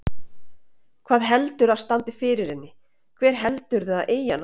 Hver heldurðu að standi fyrir henni, hver held- urðu að eigi hana?